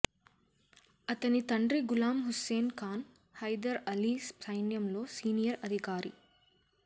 అతని తండ్రి గులాం హుస్సేన్ ఖాన్ హైదర్ అలీ సైన్యంలో సీనియర్ అధికారి